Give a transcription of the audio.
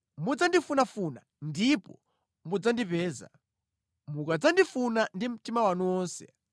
Mudzandifunafuna ndipo mudzandipeza. Mukadzandifuna ndi mtima wanu wonse